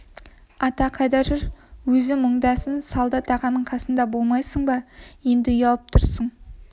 ата қайда жүр өзі мұндамын солдат ағаның қасында болмайсың ба еңді ұялып тұрсың